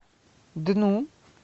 дну